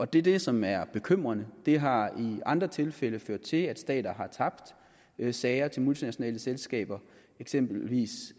det er det som er bekymrende det har i andre tilfælde ført til at stater har tabt sager til multinationale selskaber eksempelvis